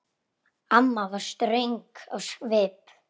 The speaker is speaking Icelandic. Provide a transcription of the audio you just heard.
Amma var ströng á svip.